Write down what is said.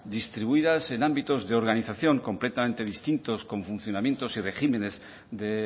distribuidas en ámbitos de organización completamente distintos con funcionamientos y regímenes de